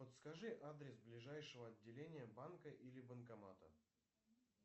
подскажи адрес ближайшего отделения банка или банкомата